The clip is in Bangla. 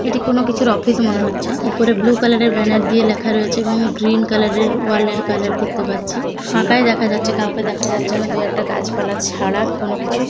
এটি কোন কিছুর অফিস মনে হচ্ছে উপরে ব্লু কালারের ব্যানার দিয়ে লেখা রয়েছে এবং গ্রিন কালার এর ওয়াল এর কালার দেখতে পাচ্ছি ফাঁকায় দেখা যাচ্ছে কাউকে দেখা যাচ্ছে না দুই একটা গাছপালা ছাড়া কোন কিছুই।